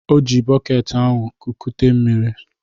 O ji bọket ahụ ekute mmiri.